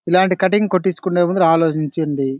ఇలాంటి కటింగ్ కొట్టించుకునే ముందు ఆలోచించండి.